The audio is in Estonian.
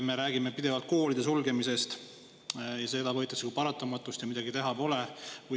Me räägime pidevalt koolide sulgemisest, seda võetakse kui paratamatust ja midagi teha pole.